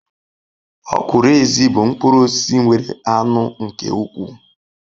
Okwuru ezi bu mkpuru osisi nwere anu nke ukwu